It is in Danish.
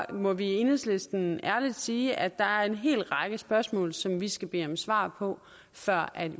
må vi i enhedslisten ærligt sige at der er en hel række spørgsmål som vi skal bede om svar på før